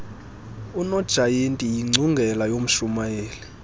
unojayiti yiingcungela yomshurnayeli